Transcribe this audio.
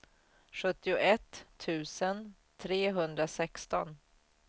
sjuttioett tusen trehundrasexton